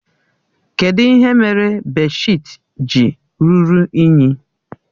Kedụ ihe mere bèdshịtị ji ruru unyi?